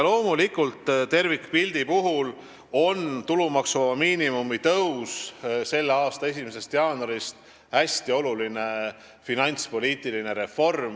Loomulikult, tervikpildi mõttes on tulumaksuvaba miinimumi tõus selle aasta 1. jaanuarist hästi oluline finantspoliitiline reform.